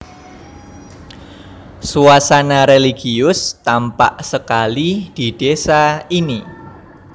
Suasana religius tampak sekali di désa ini